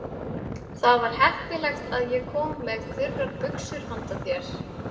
Það var heppilegt að ég kom með þurrar buxur handa þér.